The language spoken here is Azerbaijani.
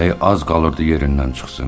Ürəyi az qalırdı yerindən çıxsın.